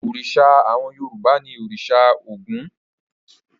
Òrìṣà àwọn Yorùbá ni òrìṣà Ògún.